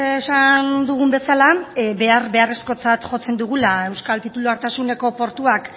esan dugun bezala behar beharrezkotzat jotzen dugula euskal titulartasuneko portuak